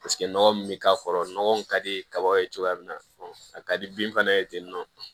Paseke nɔgɔ min bɛ k'a kɔrɔ nɔgɔ min ka di kaba ye cogoya min na a ka di bin fana ye ten